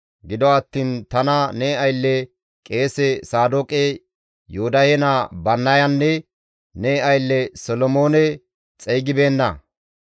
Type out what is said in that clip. Gido attiin tana ne aylle, qeese Saadooqe, Yoodahe naa Bannayanne ne aylle Solomoone xeygibeenna.